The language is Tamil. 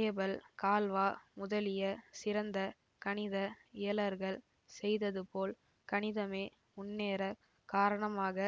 ஏபெல் கால்வா முதலிய சிறந்த கணித இயலர்கள் செய்ததுபோல் கணிதமே முன்னேறக் காரணமாக